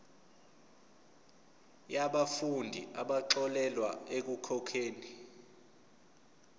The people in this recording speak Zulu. yabafundi abaxolelwa ekukhokheni